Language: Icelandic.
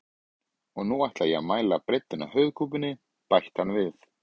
Og nú ætla ég að mæla breiddina á höfuðkúpunni, bætti hann við.